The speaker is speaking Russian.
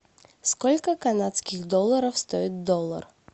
сколько канадских долларов стоит доллар